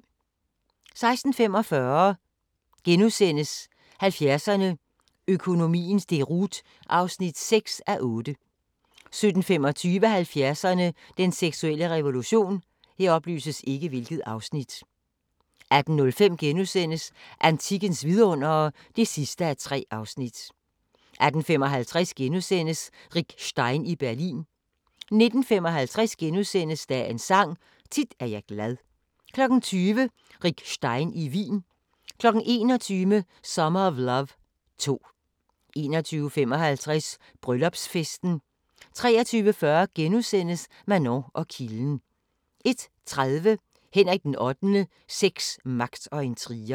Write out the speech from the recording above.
16:45: 70'erne: Økonomiens deroute (6:8)* 17:25: 70'erne: Den seksuelle revolution 18:05: Antikkens vidundere (3:3)* 18:55: Rick Stein i Berlin * 19:55: Dagens Sang: Tit er jeg glad * 20:00: Rick Stein i Wien 21:00: Summer of Love 2 21:55: Bryllupsfesten 23:40: Manon og kilden * 01:30: Henrik VIII: Sex, magt og intriger